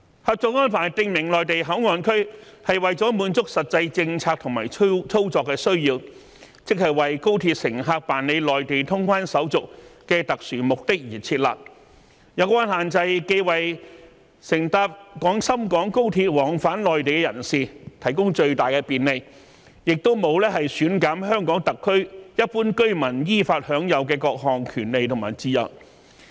《合作安排》訂明內地口岸區為了滿足實際政策和操作的需要，即為高鐵乘客辦理內地通關手續的特殊目的而設立，有關限制既為乘搭廣深港高鐵往返內地的人士提供最大的便利，亦沒有減損香港特區一般居民依法享有的各項權利和自由。